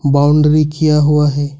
Boundary किया हुआ है।